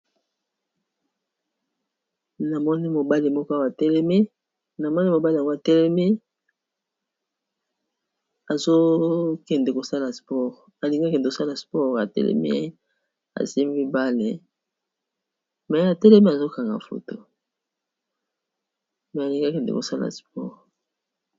Namoni mobali moko awa atelemi namoni mobali yango atelemi azokende kosala sports alingi akende kosala sport ya telemi asimbi bale me atelemi azokanga foto me alingi akende kosala sport